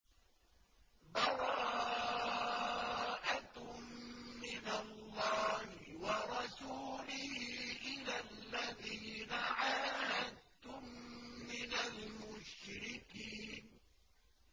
بَرَاءَةٌ مِّنَ اللَّهِ وَرَسُولِهِ إِلَى الَّذِينَ عَاهَدتُّم مِّنَ الْمُشْرِكِينَ